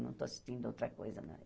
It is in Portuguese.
Não estou assistindo a outra coisa, não.